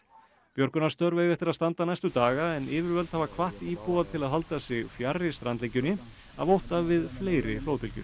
björgunarstörf eiga eftir að standa næstu daga en yfirvöld hafa hvatt íbúa til að halda sig fjarri strandlengjunni af ótta við fleiri flóðbylgjur